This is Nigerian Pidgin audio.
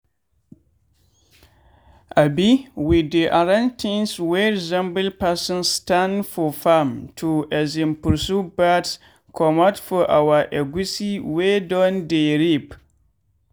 um we dey arrange things wey resemble person stand for farm to um pursue birds comot for our egusi wey don dey ripe.